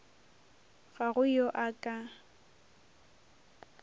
ga go yo a ka